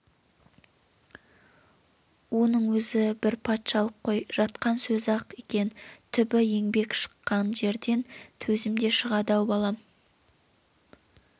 оның өзі бір патшалық қой жатқан сөзі-ақ екен түбі еңбек шыққан жерден төзім де шығады-ау балам